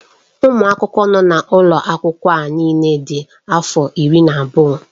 Ụmụ akwụkwọ nọ n'ụlọ akwụkwọ a niile dị afọ iri na anọ.